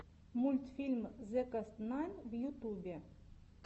мультфильм зекостнайн в ютубе